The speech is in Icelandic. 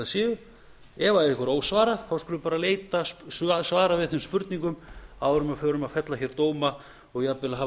ef einhverju er ósvarað þá skulum við bara leita svara við þeim spurningum áður en við förum að fella dóma og jafnvel að hafa